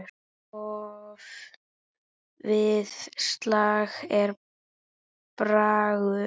Oft við slag er bragur.